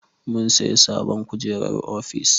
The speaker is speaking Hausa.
Mun sayi sabon kujerar ofis.